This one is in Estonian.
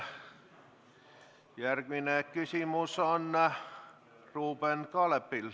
Järgmine küsimus on Ruuben Kaalepil.